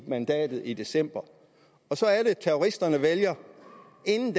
mandatet i december så er det terroristerne vælger inden